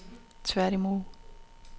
tværtimod